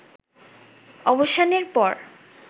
অবসানের পর